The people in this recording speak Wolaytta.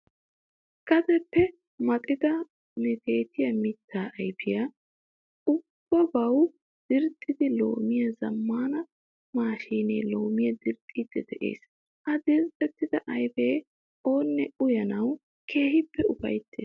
Gadeppe maxettida meetettiya mittaa ayfiya uyiyobawu dirxxidi laammiya zammaana maashiinee loomiya dirxxiiddi de'es. Ha dirxxetta ayfiya oonne uyanawu keehi ufayttees.